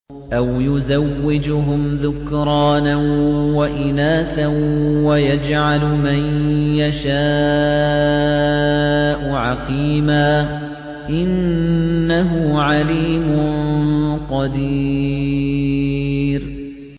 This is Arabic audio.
أَوْ يُزَوِّجُهُمْ ذُكْرَانًا وَإِنَاثًا ۖ وَيَجْعَلُ مَن يَشَاءُ عَقِيمًا ۚ إِنَّهُ عَلِيمٌ قَدِيرٌ